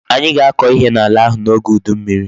Anyi ga-ako ihe n'ala ahu n'oge udu mmiri